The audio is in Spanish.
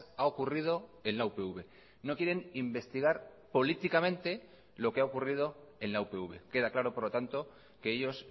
ha ocurrido en la upv no quieren investigar políticamente lo que ha ocurrido en la upv queda claro por lo tanto que ellos